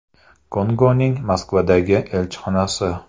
Kongoning Moskvadagi elchixonasi.